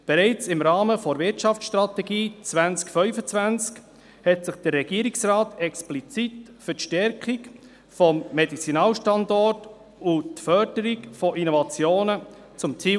Bereits im Rahmen der Wirtschaftsstrategie 2025 setzte sich der Regierungsrat explizit für die Stärkung des Medizinalstandorts und die Förderung von Innovationen zum Ziel.